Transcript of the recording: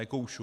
Nekoušu.